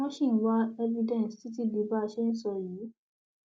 wọn ṣì ń wá evidence títí di bá a ṣe ń sọ yìí